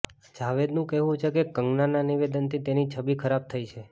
જાવેદનું કહેવું છે કે કંગનાના નિવેદનથી તેની છબી ખરાબ થઈ છે